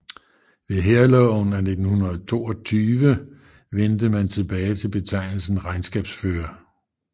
Ved Hærloven af 1922 vendte man tilbage til betegnelsen regnskabsfører